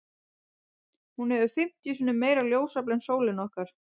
Hún hefur fimmtíu sinnum meira ljósafl en sólin okkar.